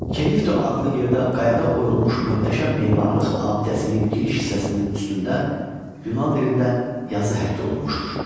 Kerikto adlı yerdə qayada oyulmuş möhtəşəm memarlıq abidəsinin giriş hissəsinin üstündə Yunan dilində yazı həkk olunmuşdur.